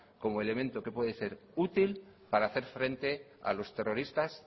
como elemento que puede ser útil para hacer frente a los terroristas